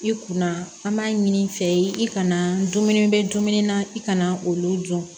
I kunna an b'a ɲini i fɛ ye i kana dumuni bɛ dumuni na i kana olu dun